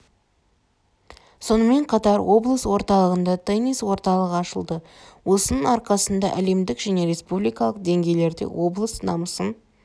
сонымен қатар облыс орталығында теннис орталығы ашылды осының арқасында әлемдік және республикалық деңгейлерде облыс намысын